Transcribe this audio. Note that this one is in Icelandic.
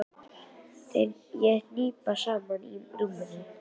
Ég hnipra mig saman í rúminu.